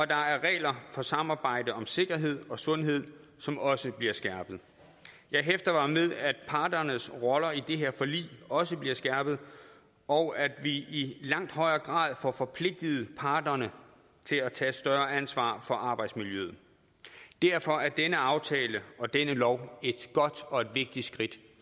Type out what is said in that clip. der er regler for samarbejde om sikkerhed og sundhed som også bliver skærpet jeg hæfter mig ved at parternes roller i det her forlig også bliver skærpet og at vi i langt højere grad får forpligtet parterne til at tage et større ansvar for arbejdsmiljøet derfor er denne aftale og denne lov et godt og vigtigt skridt